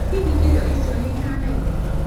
Hihi indo icio nĩ ihanaine?